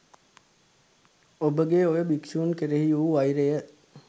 ඔබගේ ඔය භික්ෂූන් කෙරෙහි වූ වෛරය